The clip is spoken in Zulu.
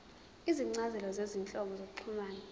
izincazelo zezinhlobo zokuxhumana